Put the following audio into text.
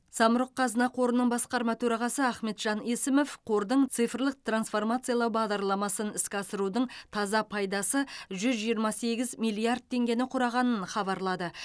самұрық қазына қорының басқарма төрағасы ахметжан есімов қордың цифрлық трансформациялау бағдарламасын іске асырудың таза пайдасы жүз жиырма сегіз миллиард теңгені құрағанын хабарлады